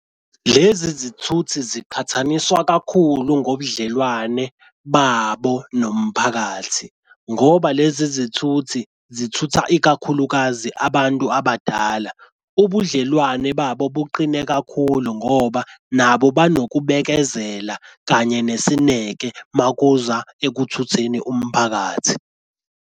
Lezi zithuthi ziqhathaniswa kakhulu ngobudlelwane babo nomphakathi, ngoba lezi zithuthi zithutha ikakhulukazi abantu abadala ubudlelwane babo buqine kakhulu ngoba nabo banokubekezela kanye nesineke uma kuza ekuthutheni umphakathi.